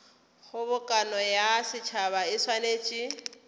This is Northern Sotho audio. kgobokano ya setšhaba e swanetše